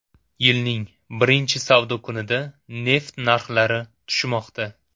Yilning birinchi savdo kunida neft narxlari tushmoqda.